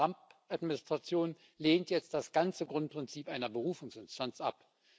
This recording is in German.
Die Trump Administration lehnt jetzt das ganze Grundprinzip einer Berufungsinstanz ab.